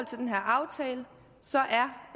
til den her aftale